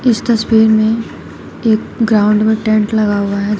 इस तस्वीर में एक ग्राउंड में टेंट लगा हुआ है ज--